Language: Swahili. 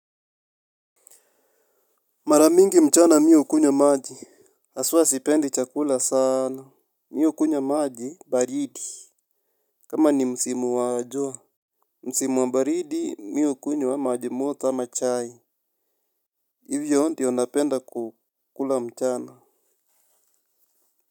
Maramingi mchana mi hukunywa maji. Haswa sipendi chakula sana. Mi hukunywa maji baridi. Kama ni msimu wa jua. Msimu wa baridi miu kunywa maji moto ama chai. Hivyo ndio napenda kukula mchana.